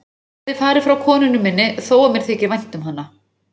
Ég hefði farið frá konunni minni þó að mér þyki vænt um hana.